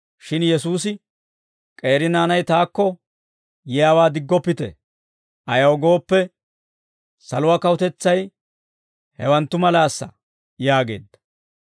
Shin Yesuusi, «K'eeri naanay taakko yiyaawaa diggoppite; ayaw gooppe, saluwaa kawutetsay hewanttu malaasa» yaageedda.